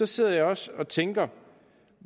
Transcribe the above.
sidder jeg også og tænker